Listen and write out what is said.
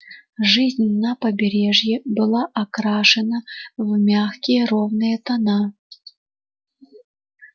жизнь на побережье была окрашена в мягкие ровные тона